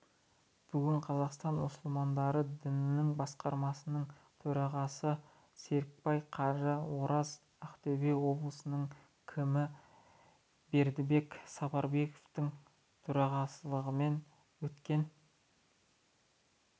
бүгін қазақстан мұсылмандары діни басқармасының төрағасы серікбай қажы ораз ақтөбе облысының кімі бердібек сапарбаевтың төрағалығымен өткен